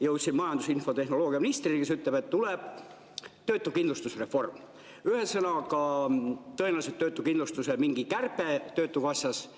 Jõudsin majandus- ja infotehnoloogiaministrini, kes ütles, et tuleb töötuskindlustuse reform, ühesõnaga, tõenäoliselt mingi töötuskindlustuse kärbe töötukassas.